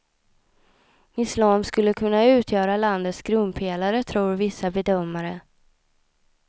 Islam skulle kunna utgöra landets grundpelare tror vissa bedömare.